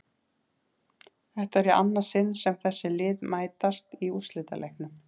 Þetta er í annað sinn sem þessi lið mætast í úrslitaleiknum.